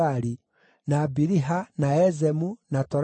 na Biliha, na Ezemu, na Toladi,